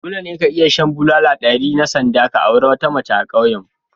Dole ne ka iya shan bulala ɗari na sanda ka auri wata mace a ƙauyenmu